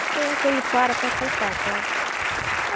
E foi aquele para para acertar, sabe?